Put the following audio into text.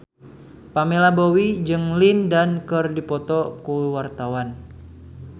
Pamela Bowie jeung Lin Dan keur dipoto ku wartawan